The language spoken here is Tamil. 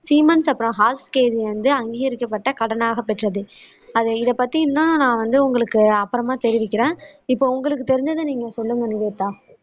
சீமென்ஸ் அப்பறம் வந்து அங்கீகரிக்கப்பட்ட கடனாகப் பெற்றது அது இதை பத்தி இன்னும் நான் வந்து உங்களுக்கு அப்பறமா தெரிவிக்கிறேன் இப்போ உங்களுக்கு தெரிஞ்சதை நீங்க சொல்லுங்க நிவேதா